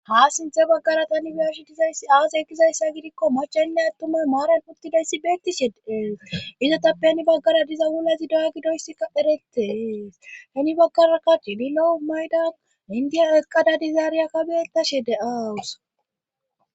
Ha sinthe baggara tani iyashi dizays aase ekizayssa gidikko machaninne attumay maaran puttidayssi beettishedeees izotappe ni baggara diza wulazi doya gidoyssika eretees tani baggara karchi di lou maydan indiya ekqada dizaariya kabietashe de'aawus.